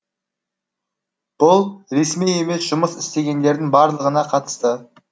бұл ресми емес жұмыс істегендердің барлығына қатысты